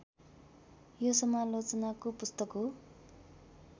यो समालोचनाको पुस्तक हो